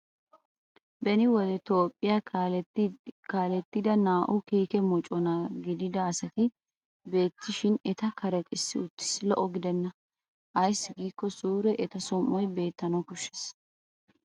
Beni wode toophphiyaa kaalettida naa'u kiike mocona gidida asati bettishin eta karexissi uttis lo'o gidenna ayssi giikko suure eta som'oy beettana koshshes.